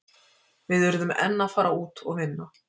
Við urðum enn að fara út og vinna.